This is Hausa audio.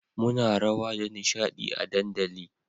muna rawa da nishadi a dandali